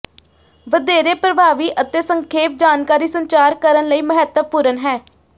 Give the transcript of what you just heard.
ਵਧੇਰੇ ਪ੍ਰਭਾਵੀ ਅਤੇ ਸੰਖੇਪ ਜਾਣਕਾਰੀ ਸੰਚਾਰ ਕਰਨ ਲਈ ਮਹੱਤਵਪੂਰਨ ਹੈ